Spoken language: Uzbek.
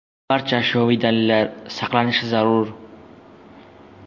Barcha ashyoviy dalillar saqlanishi zarur.